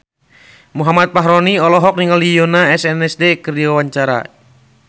Muhammad Fachroni olohok ningali Yoona SNSD keur diwawancara